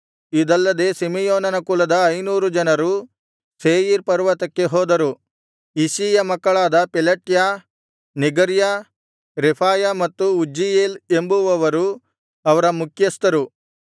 ಇದಲ್ಲದೆ ಸಿಮೆಯೋನನ ಕುಲದ ಐನೂರು ಜನರು ಸೇಯೀರ್ ಪರ್ವತಕ್ಕೆ ಹೋದರು ಇಷ್ಷೀಯ ಮಕ್ಕಳಾದ ಪೆಲಟ್ಯ ನೆಗರ್ಯ ರೆಫಾಯ ಮತ್ತು ಉಜ್ಜೀಯೇಲ್ ಎಂಬುವವರು ಅವರ ಮುಖ್ಯಸ್ಥರು